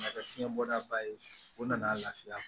Na kɛ fiɲɛ bɔda ba ye o nana lafiya